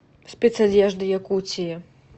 спецодежда якутии